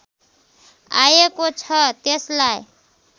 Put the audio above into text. आएको छ त्यसलाई